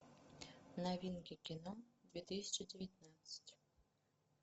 новинки кино две тысячи девятнадцать